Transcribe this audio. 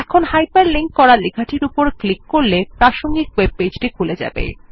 এখন hyperlink করা লেখাটির উপর ক্লিক করলে প্রাসঙ্গিক ওয়েব পেজটি খুলে যাবে